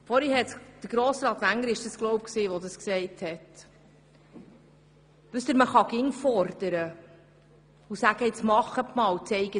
Man kann immer fordern und sagen: «Nun machen Sie schon, zeigen Sie auf... !